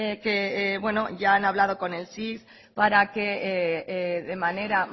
que ya han hablado con el para que de manera